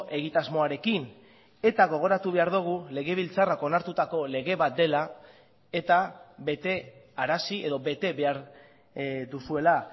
egitasmoarekin eta gogoratu behar dugu legebiltzarrak onartutako lege bat dela eta betearazi edo bete behar duzuela